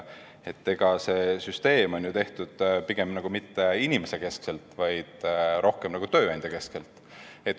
See süsteem on ju tehtud pigem mitte inimesekeskselt, vaid rohkem tööandjakeskselt.